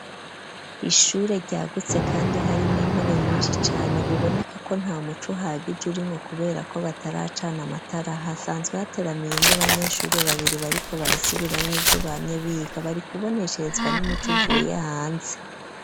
Ishure ryagutse kandi hari mw' intebe nyinshi cane, biboneka ko nta muco uhagije urimwo kubera ko bataracana amatara, hasanzwe hateramiyemwo abanyeshuri babiri bariko barasubiramwo ivyo bamye biga ,bari kubonesheezwa n'umuco uvuye hanze.